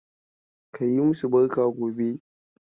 Ka yi masu barka gobe.